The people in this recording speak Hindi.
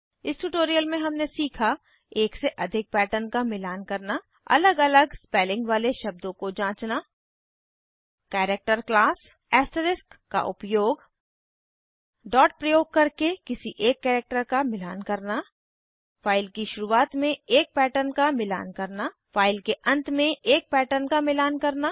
इस ट्यूटोरियल में हमने सीखा एक से अधिक पैटर्न का मिलान करना अलग अलग स्पेलिंग वाले शब्दों को जांचना कैरेक्टर क्लास ऐस्टरिस्क का उपयोग डॉट प्रयोग करके किसी एक कैरेक्टर का मिलान करना फाइल की शुरुआत में एक पैटर्न का मिलान करना फाइल के अंत में एक पैटर्न का मिलान करना